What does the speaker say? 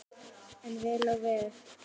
En vel á veg.